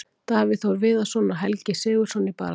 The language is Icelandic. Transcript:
Davíð Þór Viðarsson og Helgi SIgurðsson í baráttunni.